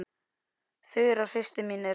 Þura systir mín er gáfuð.